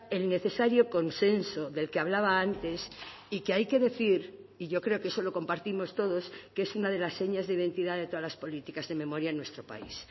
el necesario consenso del que hablaba antes y que hay que decir y yo creo que eso lo compartimos todos que es una de las señas de identidad de todas las políticas de memoria en nuestro país